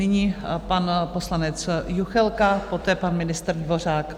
Nyní pan poslanec Juchelka, poté pan ministr Dvořák.